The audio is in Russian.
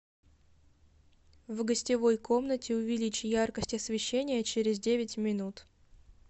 в гостевой комнате увеличь яркость освещения через девять минут